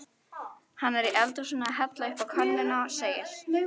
Hann er í eldhúsinu að hella uppá könnuna segir